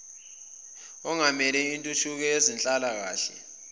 ongamele intuthuko yezenhlalakahle